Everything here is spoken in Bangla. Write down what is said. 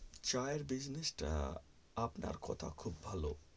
চা এর business টা আপনার কথা খুব ভালো